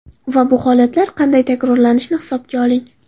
Va bu holatlar qanday takrorlanishini hisobga oling.